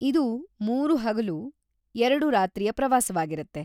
ಇದು ಮೂರು-ಹಗಲು/ಎರಡು-ರಾತ್ರಿಯ ಪ್ರವಾಸವಾಗಿರತ್ತೆ.